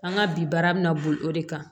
An ka bi baara bɛ na boli o de kan